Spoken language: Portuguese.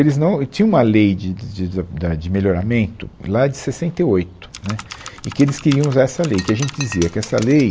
Eles não, e tinha uma lei de de de da da de melhoramento lá de sessenta e oito, né, e que eles queriam usar essa lei, que a gente dizia que essa lei